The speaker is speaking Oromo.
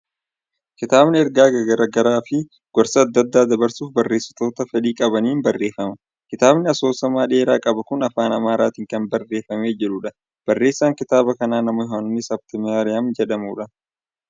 Kitaabni ergaa garaa garaa fi gorsa adda addaa dabarsuuf barreessitoota fedhii qabaniin barreeffama. Kitaabni asoosama dheeraa qabu kun afaan Amaaraatiin kan barreeffamee jirudha. Barreessaan kitaaba kanaa nama Yohaannis Habtemaariyaam jedhamuunidha.